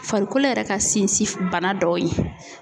Farikolo yɛrɛ ka sinsin bana dɔw ye